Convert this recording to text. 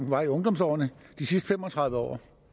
var i ungdomsårene de sidste fem og tredive år